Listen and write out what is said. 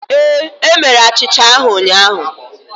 Ee, e mere achịcha ahụ ụnyahụ